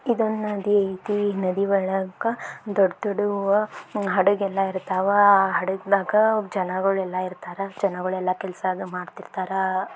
ಇದೊಂದ್ ನದಿ ಐತಿ ಈ ನದಿ ಒಳಗ ದೊಡ್ಡ್ದೊ ಡ್ಡ್ ಅವ ಹಡಗ್ ಎಲ್ಲಾ ಇರ್ತವಾ ಹಡಗನಾಗ್ ಜನಗಳು ಎಲ್ಲಾ ಇರ್ತರಾ ಜನಗೂಳ್ ಎಲ್ಲಾ ಕೆಲ್ಸ ಮಾಡ್ತಿರ್ತಿರಾ.